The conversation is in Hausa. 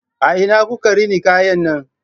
A ina kuka rina kayan nan?